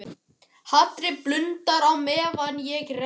Hatrið blundar á meðan ég reikna.